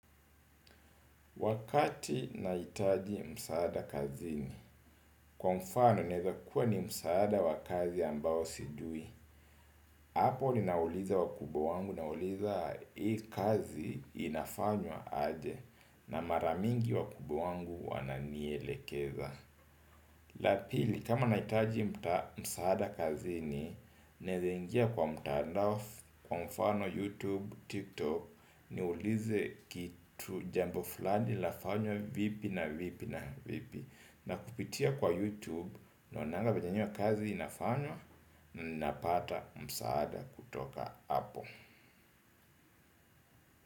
Wakati nahitaji msaada kazini, kwa mfano inaeza kuwa ni msaada wa kazi ambao sijui. Hapo ninauliza wakubwa wangu nauliza hii kazi inafanywa aje na mara mingi wakubwa wangu wananielekeza. La pili kama nahitaji msaada kazini naeza ingia kwa mtaandao kwa mfano YouTube, TikTok niulize kitu jambo fulani lafanywa vipi na vipi na vipi. Na kupitia kwa YouTube naonanga venye hiyo kazi inafanywa na ninapata msaada kutoka hapo.